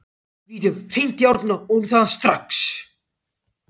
Vígdögg, hringdu í Árna.